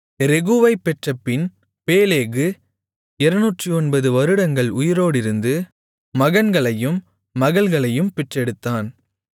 ரெகூவைப் பெற்றபின் பேலேகு 209 வருடங்கள் உயிரோடிருந்து மகன்களையும் மகள்களையும் பெற்றெடுத்தான்